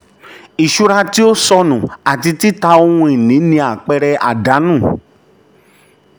iṣura tí um o um o sọnu àti tita ohun-ini ni àpẹẹrẹ àdánù. um